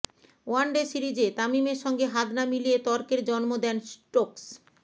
one day সিরিজে তামিমের সঙ্গে হাত না মিলিয়ে তর্কের জন্ম দেন স্টোকস